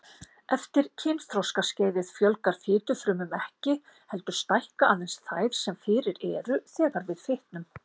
Eftir kynþroskaskeiðið fjölgar fitufrumum ekki, heldur stækka aðeins þær sem fyrir eru þegar við fitnum.